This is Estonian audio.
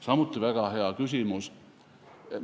Samuti väga hea küsimus!